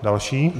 Další